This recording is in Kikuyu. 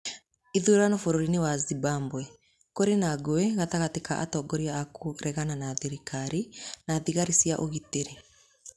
Ithurano Bũrũri-inĩ wa Zimbabwe: Kũrĩ na ngũĩ gatagatĩ ka atongoria a kũregana na thirikari na thigari cia ũgitĩri